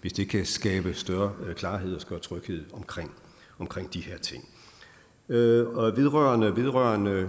hvis det kan skabe større klarhed og tryghed omkring omkring de her ting vedrørende vedrørende